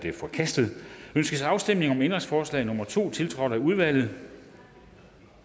er forkastet ønskes afstemning om ændringsforslag nummer to tiltrådt af udvalget